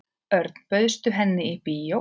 Örn, bauðstu henni í bíó?